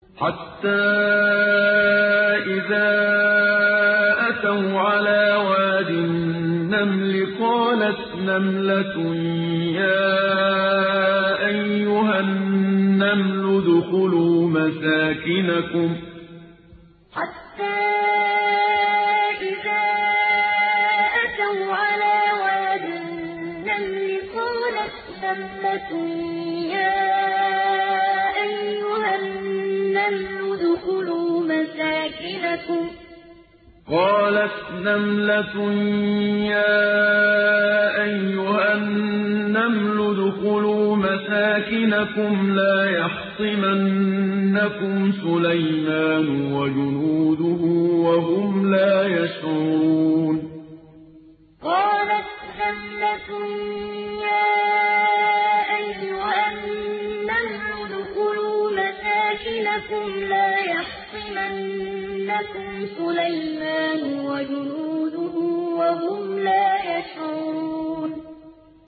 حَتَّىٰ إِذَا أَتَوْا عَلَىٰ وَادِ النَّمْلِ قَالَتْ نَمْلَةٌ يَا أَيُّهَا النَّمْلُ ادْخُلُوا مَسَاكِنَكُمْ لَا يَحْطِمَنَّكُمْ سُلَيْمَانُ وَجُنُودُهُ وَهُمْ لَا يَشْعُرُونَ حَتَّىٰ إِذَا أَتَوْا عَلَىٰ وَادِ النَّمْلِ قَالَتْ نَمْلَةٌ يَا أَيُّهَا النَّمْلُ ادْخُلُوا مَسَاكِنَكُمْ لَا يَحْطِمَنَّكُمْ سُلَيْمَانُ وَجُنُودُهُ وَهُمْ لَا يَشْعُرُونَ